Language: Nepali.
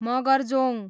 मगरजोङ